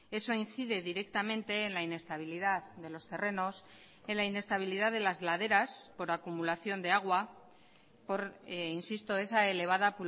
eso incide directamente en la inestabilidad de los terrenos en la inestabilidad de las laderas por acumulación de agua por insisto esa elevada